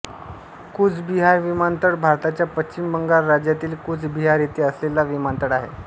कूच बिहार विमानतळ भारताच्या पश्चिम बंगाल राज्यातील कूच बिहार येथे असलेला विमानतळ आहे